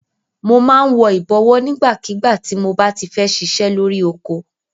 Mo máa ń wọ ìbọ̀wọ́ nígbàkígbà tí mob á ti fẹ́ ṣiṣẹ́ lórí oko.